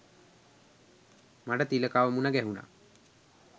මට තිලකව මුණ ගැහුනා.